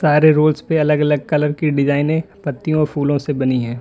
सारे रूल्स पे अलग अलग कलर की डिजाइने पत्तियों फूलों से बनी हैं।